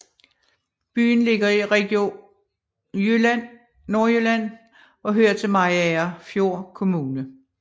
Byen ligger i Region Nordjylland og hører til Mariagerfjord Kommune